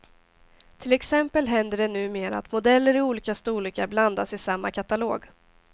Till exempel händer det numera att modeller i olika storlekar blandas i samma katalog.